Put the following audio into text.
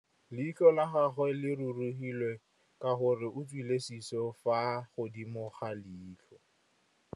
Leitlhô la gagwe le rurugile ka gore o tswile sisô fa godimo ga leitlhwana.